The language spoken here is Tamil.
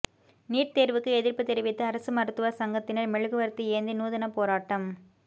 நீட் தேர்வுக்கு எதிர்ப்பு தெரிவித்து அரசு மருத்துவர் சங்கத்தினர் மெழுகுவர்த்தி ஏந்தி நூதன போராட்டம்